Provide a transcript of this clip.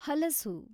ಹಲಸು